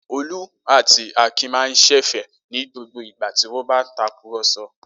Olú àti Akin máa ṣẹ̀fẹ̀ ní gbogbo ìgbà tí wọ́n bá ń takùrọ̀sọ.